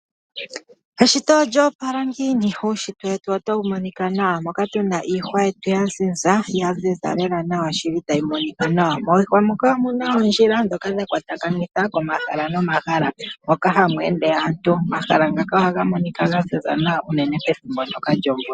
Eshito olyo opala ngiini, uunshitwe wetu otau monika nawa moka Pena iihwa yetu ua ziza, ya ziza Kela nawa shili ra yimonika. Miihwa moka omuna ondjila ndhoka dha kwatakanitha komahala nomahala, moka ha mu ende anntu. Omahala ngaka ota ga monika ga ziza nawa pethimbo ndjoka lyomvula.